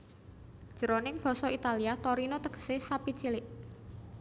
Jroning basa Italia Torino tegesé sapi cilik